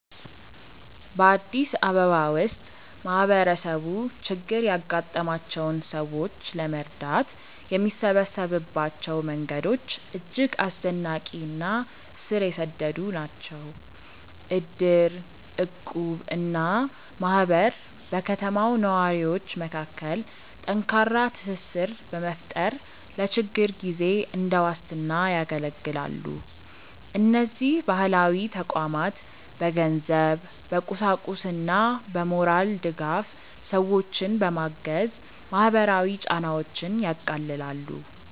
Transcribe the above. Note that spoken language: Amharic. በአዲስ አበባ ውስጥ ማህበረሰቡ ችግር ያጋጠማቸውን ሰዎች ለመርዳት የሚሰበሰብባቸው መንገዶች እጅግ አስደናቂ እና ስር የሰደዱ ናቸው። እድር፣ እቁብ እና ማህበር በከተማው ነዋሪዎች መካከል ጠንካራ ትስስር በመፍጠር ለችግር ጊዜ እንደ ዋስትና ያገለግላሉ። እነዚህ ባህላዊ ተቋማት በገንዘብ፣ በቁሳቁስና በሞራል ድጋፍ ሰዎችን በማገዝ ማህበራዊ ጫናዎችን ያቃልላሉ።